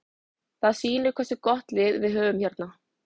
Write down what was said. Það sýnir hversu gott lið við höfum hérna.